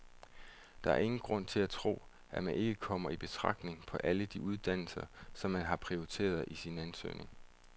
Der er ingen grund til at tro, at man ikke kommer i betragtning på alle de uddannelser, som man har prioriteret på sin ansøgning.